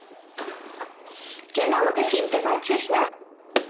কেন আমাকে চিনতে পারছিস না